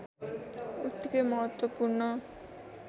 उत्तिकै महत्त्वपूर्ण